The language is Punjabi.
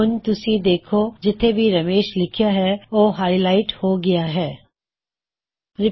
ਹੁਣ ਤੁਸੀ ਦੇਖੋ ਜਿਥੇ ਵੀ ਰਮੇਸ਼ ਲਿਖਿਆਂ ਹੈ ਉਹ ਹਾਇਲਾਇਟ ਉਜਾਗਰ ਹਾਈਲਾਈਟਿਡ ਹੋ ਗਇਆ ਹੈ